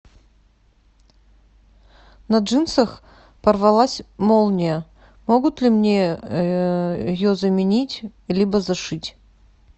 на джинсах порвалась молния могут ли мне ее заменить либо зашить